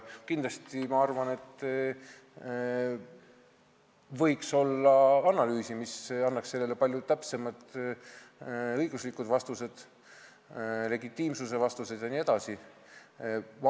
Ma arvan, et võiks teha analüüsi, mis annaks palju täpsemad õiguslikud vastused, vastused legitiimsuse kohta jne.